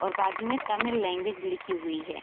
और बाजु में तमिल लैंग्वेज लिखी हुई है।